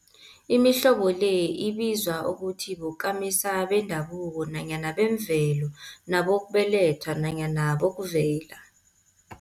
Imihlobo le ibizwa ukuthi bokamisa bendabuko nanyana bemvelo, nabokubelethwa nanyana bokuvela.